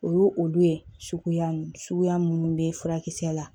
O y'o olu ye suguya suguya minnu bɛ furakisɛ la